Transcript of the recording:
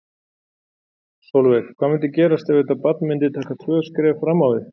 Sólveig: Hvað myndi gerast ef þetta barn myndi taka tvö skref fram á við?